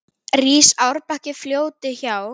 Rís árbakki fljóti hjá.